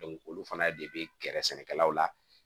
olu fana de be kɛrɛ sɛnɛkɛlaw la